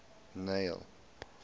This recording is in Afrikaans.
neil